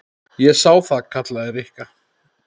Ég sá það. kallaði Rikka.